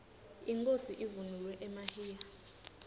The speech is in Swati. inkhosi ivunule emahiya